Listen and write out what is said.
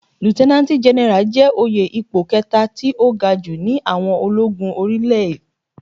Líútẹ́nánátì Gẹnẹrà jẹ́ òye ipò kẹta tí ó ga jù ní àwọn ológun orí ilé.